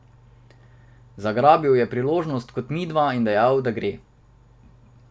Zagrabil je priložnost, kot midva, in dejal, da gre.